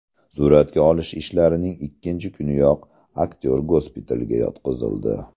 Suratga olish ishlarining ikkinchi kuniyoq aktyor gospitalga yotqizildi.